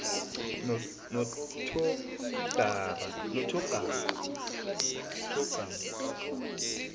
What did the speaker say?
nothogarma